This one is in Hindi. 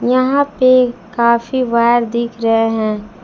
यहां पे काफी वायर दिख रहे है।